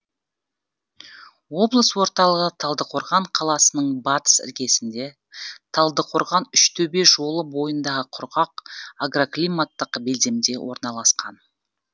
облыс орталығы талдықорған қаласының батыс іргесінде талдықорған үштөбе жолы бойындағы құрғақ агроклиматтық белдемде орналасқан